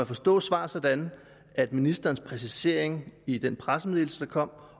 forstå svaret sådan at ministerens præcisering i den pressemeddelelse der kom